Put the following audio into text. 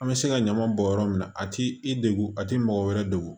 An bɛ se ka ɲama bɔn yɔrɔ min na a ti i degu a tɛ mɔgɔ wɛrɛ degun